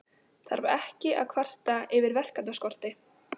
Þarf ekki að kvarta yfir verkefnaskorti.